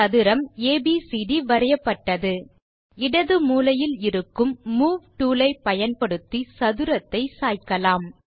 ஒரு சதுரம் ஏபிசிடி வரையப்பட்டது இடது மூலையில் இருக்கும் மூவ் டூல் ஐ பயன்படுத்தி சதுரத்தை சாய்க்கலாம்